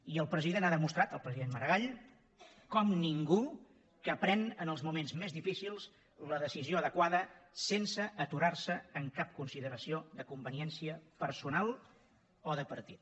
i el president ha demostrat el president maragall com ningú que pren en els moments més difícils la decisió adequada sense aturar se en cap consideració de conveniència personal o de partit